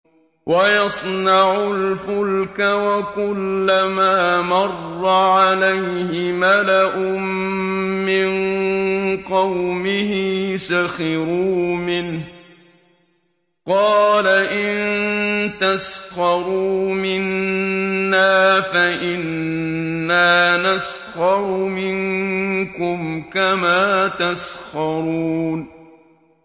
وَيَصْنَعُ الْفُلْكَ وَكُلَّمَا مَرَّ عَلَيْهِ مَلَأٌ مِّن قَوْمِهِ سَخِرُوا مِنْهُ ۚ قَالَ إِن تَسْخَرُوا مِنَّا فَإِنَّا نَسْخَرُ مِنكُمْ كَمَا تَسْخَرُونَ